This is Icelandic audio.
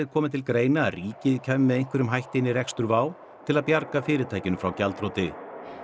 komið til greina að ríkið kæmi með einhverjum hætti inn í rekstur WOW til að bjarga fyrirtækinu frá gjaldþroti